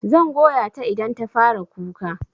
Zan goya ta idan ta fara kuka.